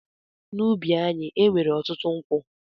N’ubi anyị, e nwere ọtụtụ nkwụ.